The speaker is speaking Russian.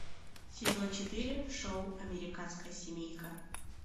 сезон четыре шоу американская семейка